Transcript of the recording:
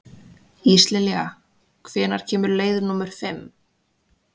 Íslilja, hvenær kemur leið númer fimm?